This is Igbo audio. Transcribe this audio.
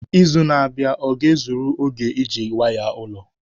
Izu na-abịa ọ ga-ezuru oge iji waya ụlọ?